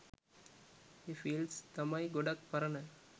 ඒ fields තමයි ගොඩක් පරණ